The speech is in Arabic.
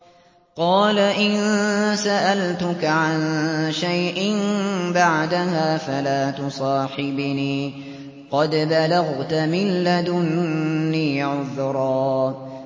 قَالَ إِن سَأَلْتُكَ عَن شَيْءٍ بَعْدَهَا فَلَا تُصَاحِبْنِي ۖ قَدْ بَلَغْتَ مِن لَّدُنِّي عُذْرًا